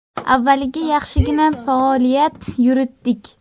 Avvaliga yaxshigina faoliyat yuritdik.